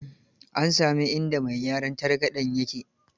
An sami inda mai gyaran targaɗen ya ke?